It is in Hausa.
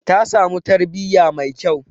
Ta samu tarbiyya mai kyau.